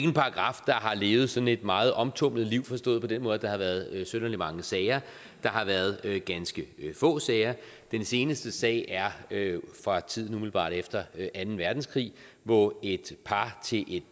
en paragraf der har levet sådan et meget omtumlet liv forstået på den måde at der har været synderlig mange sager der har været ganske få sager den seneste sag er fra tiden umiddelbart efter anden verdenskrig hvor et par til et